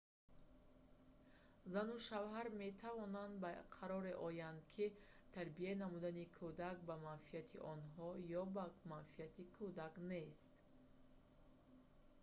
зану шавҳар метавонанд ба қароре оянд ки тарбия намудани кӯдак ба манфиати онҳо ё ба манфиати кӯдак нест